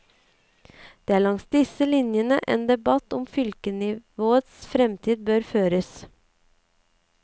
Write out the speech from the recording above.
Det er langs disse linjene en debatt om fylkesnivåets fremtid bør føres.